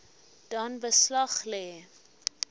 dan beslag lê